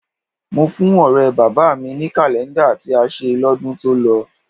Mo fún ọ̀rẹ́ bàbá mi ní kàlẹ́ńdà tí a ṣe lọ́dún tó lọ